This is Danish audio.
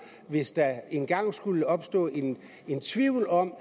hvis der engang skulle opstå en tvivl om